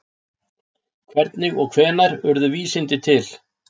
Hvernig og hvenær urðu vísindi til?